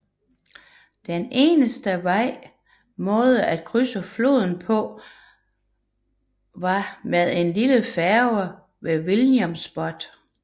Den eneste vej måde at krydse floden på var med en lille færge ved Williamsport